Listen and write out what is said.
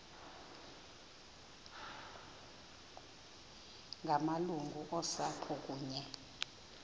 ngamalungu osapho kunye